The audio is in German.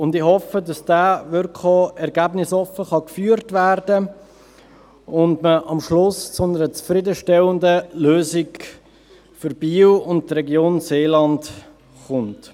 Ich hoffe, dass dieser wirklich ergebnisoffen geführt werden kann und man am Schluss zu einer zufriedenstellenden Lösung für Biel und die Region Seeland kommt.